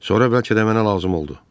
Sonra bəlkə də mənə lazım oldu.